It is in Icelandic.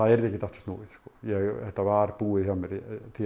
yrði ekkert aftur snúið þetta var búið hjá mér